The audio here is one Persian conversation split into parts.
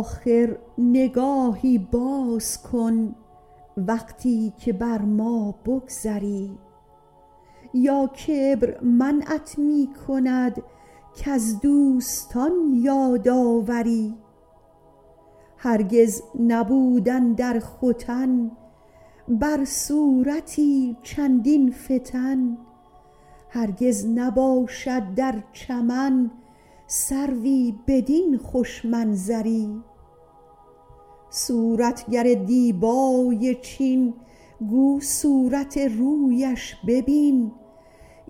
آخر نگاهی باز کن وقتی که بر ما بگذری یا کبر منعت می کند کز دوستان یاد آوری هرگز نبود اندر ختن بر صورتی چندین فتن هرگز نباشد در چمن سروی بدین خوش منظری صورتگر دیبای چین گو صورت رویش ببین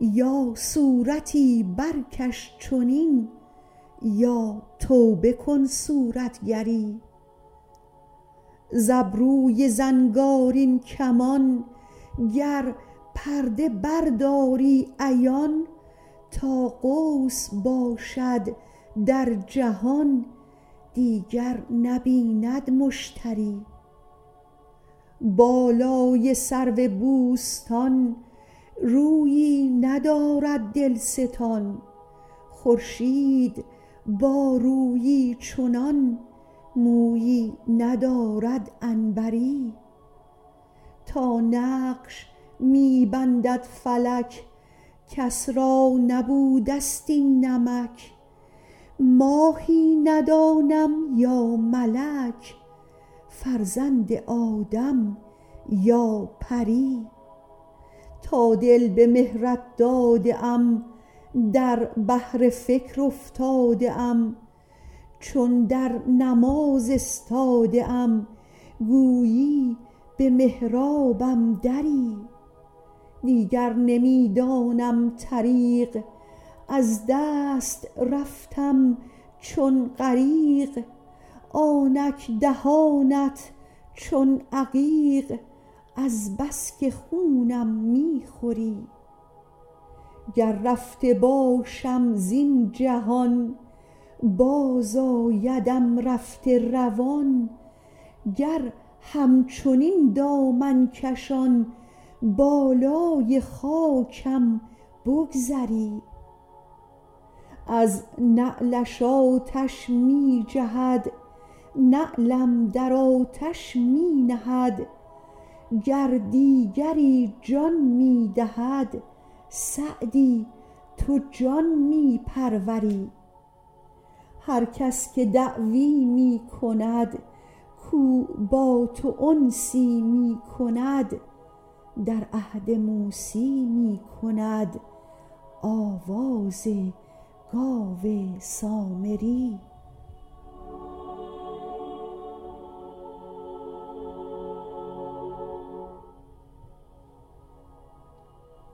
یا صورتی برکش چنین یا توبه کن صورتگری ز ابروی زنگارین کمان گر پرده برداری عیان تا قوس باشد در جهان دیگر نبیند مشتری بالای سرو بوستان رویی ندارد دلستان خورشید با رویی چنان مویی ندارد عنبری تا نقش می بندد فلک کس را نبوده ست این نمک ماهی ندانم یا ملک فرزند آدم یا پری تا دل به مهرت داده ام در بحر فکر افتاده ام چون در نماز استاده ام گویی به محرابم دری دیگر نمی دانم طریق از دست رفتم چون غریق آنک دهانت چون عقیق از بس که خونم می خوری گر رفته باشم زین جهان بازآیدم رفته روان گر همچنین دامن کشان بالای خاکم بگذری از نعلش آتش می جهد نعلم در آتش می نهد گر دیگری جان می دهد سعدی تو جان می پروری هر کس که دعوی می کند کاو با تو انسی می کند در عهد موسی می کند آواز گاو سامری